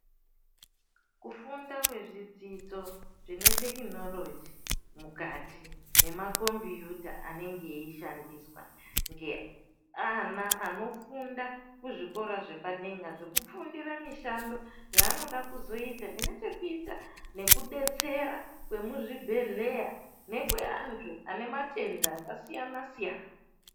Kufunda kwezvidzidzo zvine tekinoloji mukati nemakombiyuta anenge eishandiswa ngeana anofunda kuzvikora zvepadera zvekufundira mishando yaanoda kuzoita zvinechekuita nekudetsera kwemuzvibhedhlera nekweantu anematenda akasiyana siyana.